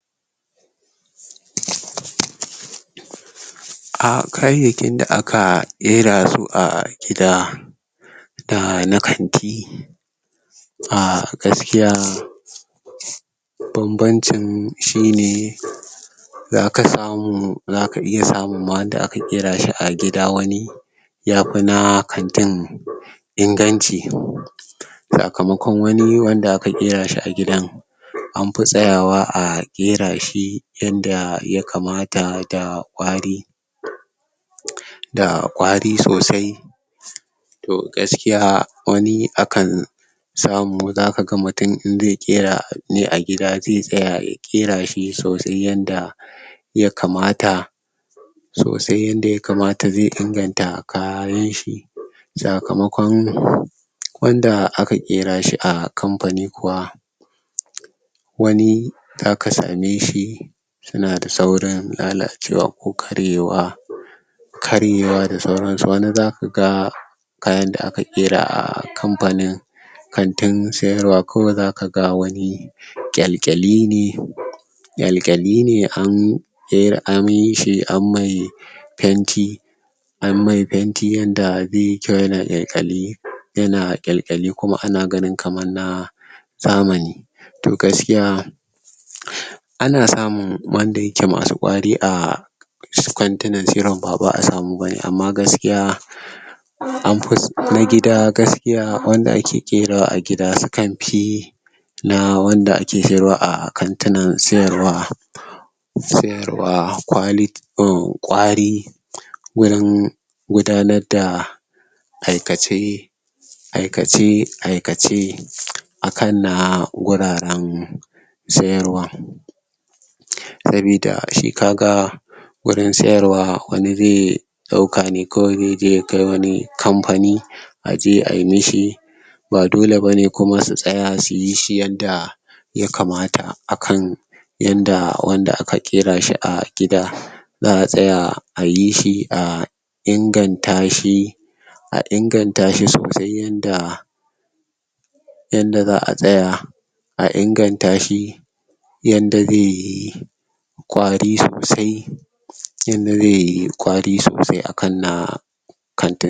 A kayaki da a ka gera su a gida da na kanti a gaskiya banbancin shi ne za ka samu, za ka iya samu ma wanda a ka kera shi a gida wani ya fi na kanti inganci sakamaƙon wanni wanda a ka gera shi a gidan an fi tsayawa a gera shi yanda ya kamata da kwari da kwari sosai toh gaskiya wanni a kan samu, za ka ga mutum in zai gera ne a gida zai tsaya, ya gera sosai yanda ya kamata sosai in da ya kamata zai inganta a kayan shi sakamaƙon wanda a ka gera shi a kampani kuwa wani da a ka same shi su na da sauran lallacewa ko karyewa karyewa da sauransu, wani za ku gan kayan da a ka gera a kampani kantin tsayarwa kawai za ka ga wani kyalkyali ne kyakyali ne an yayi amiyir shi, an mai panti an mai panti yanda zai yi kyau, ya na kyalkyali ya na kyalkyali kuma a na gani kamar na samun, toh gaskiya a na samun wanda ya ke masu ƙwari a su kwantunan tsirin ba wa a tsamu ba ne, amma gaskiya am fu, na gida gaskiya wanda a ke gera a gida su kanfi na wanda a ke ferawa a kantunan sayarwa sayarwa kwali, umm kwari gurin gudanar da aikace aikace aikace a kan na guraren sayarwa sabida shi ka ga gurin sayarwa wanni zai dauka ne kawai zai je ya kai wani kampani a je a yi mishi ba dole ba ne kuma su tsaya su yi shi yadda ya kamata a kan yanda wanda a ka ƙera shi a gida za'a tsaya a yi shi a inganta shi a inganta shi sosai yanda yanda za'a tsaya a inganta shi yanda zai yi kwari sosai yanda zai yi kwari sosai a kan na